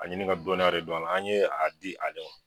A ɲini ka dɔniya re don a la an ɲe a di ale ma.